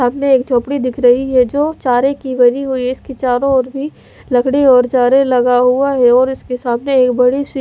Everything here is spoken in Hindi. सामने एक झोपड़ी दिख रही है जो चारे की बनी हुई है इसके चारों ओर भी लकड़ी और चारे लगा हुआ है और इसके सामने एक बड़ी सी--